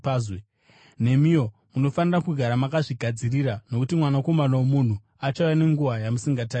Nemiwo munofanira kugara makazvigadzirira, nokuti Mwanakomana woMunhu achauya nenguva yamusingamutarisiri.”